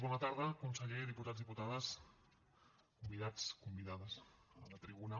bona tarda conseller diputats diputades convidats convidades a la tribuna